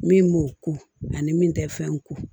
Min b'o ko ani min tɛ fɛn ko